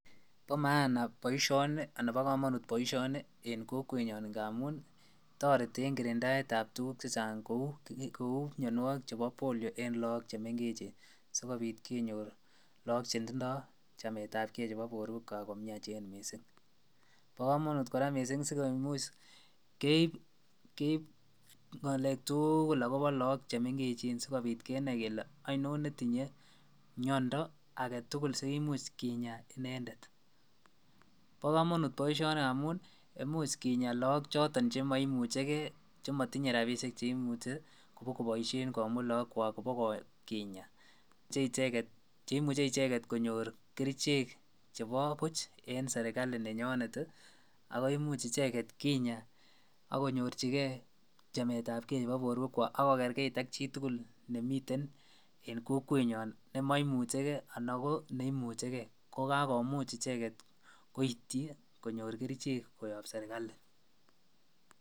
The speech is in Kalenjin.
Bo maana boisioni anan bo kamanut boisioni en kokwet nyaan amuun taretii en kirindait ab mianwagik che chaang che uu poliomyelitis eng lagook che mengeechen sikobiit kenyoor lagook che tindooi chamet ab gei nebo boruek kwaak missing bo kamanut kora missing sikomuuch keib ngalek tuguul agobo lagook che mengeechen sikobiit kenai kele ainon ne tindoi miando sikomuuch kinyaa inendet, bo kamanut boisioni amuun imuuch kinyaa lagook chotoon che maimuchei gei che matinyei rapisheek che imuche ibaak kobaisheen komuut lagook kwaak iba kinyaa che imuchei ichegeet konyoor kercheek chebo buuch en serikali nenyonet ii ago imuuch ichegeet kinyaa ako nyorjigei ichegeet chamet ab kei nebo boruek kwaak ak ko kerkeit ak chi tugul nemiten eng kokwet nyaan nema imuchei gei anan ko neimuchei gei ko kakimuuch ichegeet koityi konyoor kercheek koyaan serikali.